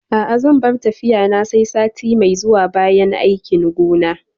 A'a zan bar tafiya na sai sati mai zuwa bayan aikin gona